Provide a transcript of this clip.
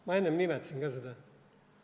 Ma enne nimetasin ka seda.